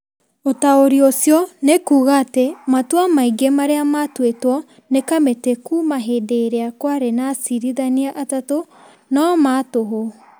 ũtaũri ũcio nĩ kuuga atĩ matua maingĩ marĩa matuĩtwo nĩ kamĩtĩ kuuma hĩndĩ ĩrĩa kwarĩ na acirithania atatũ no ma tũhũ.